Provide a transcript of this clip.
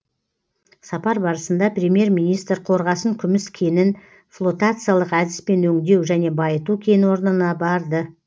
сапар барысында премьер министр қорғасын күміс кенін флотациялық әдіспен өңдеу және байыту кен орнына барды